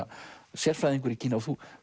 sérfræðingur í Kína og þú